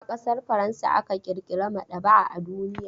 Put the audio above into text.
A ƙasar Faransa aka ƙirƙira maɗaba'a a duniya.